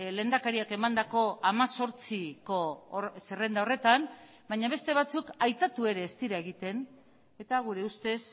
lehendakariak emandako hemezortziko zerrenda horretan baina beste batzuk aipatu ere ez dira egiten eta gure ustez